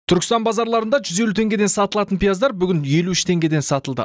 түркістан базарларында жүз елу теңгеден сатылатын пияздар бүгін елу үш теңгеден сатылды